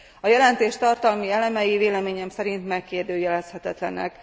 A jelentés tartalmi elemei véleményem szerint megkérdőjelezhetetlenek.